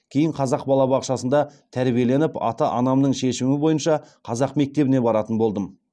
кейін қазақ балабақшасында тәрбиеленіп ата анамның шешімі бойынша қазақ мектебіне баратын болдым